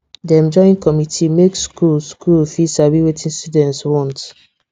dem join committee make school school fit sabi wetin students want